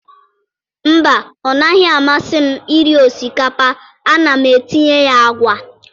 Mba, ọ naghị amasị m iri osikapa a na-etinyeghị agwa.